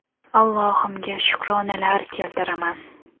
Allohimga shukronalar keltiraman.